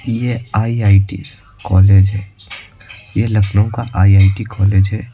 यह IIT college है यह लखनऊ का आई_आई_टी कॉलेज है।